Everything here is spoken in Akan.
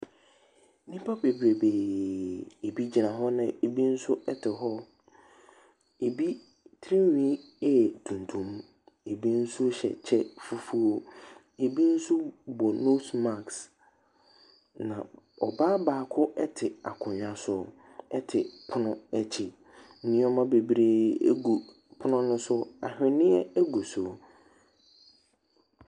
Nnipa bebrebee. Ebigyina hɔ na ebi nso te hɔ. Ebi tiri nhwi yɛ tuntum. Ebi nso hyɛ kyɛ fufuo. Ebi nso bɔ nose marks. Na ɔbaa baako te akonnwa so te pono akyi. Nnoɔma babree gu pono no so. Anhweneɛ gu so.